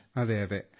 Vinayak yes സിർ